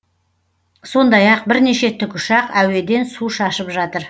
сондай ақ бірнеше тікұшақ әуеден су шашып жатыр